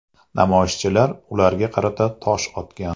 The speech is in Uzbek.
Namoyishchilar ularga qarata tosh otgan.